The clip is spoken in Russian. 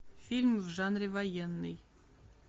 фильм в жанре военный